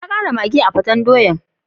Na kara maggi a'peten doyan.